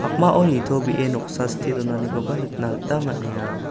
pakmao nitobee noksa stee donanikoba nikna gita man·enga.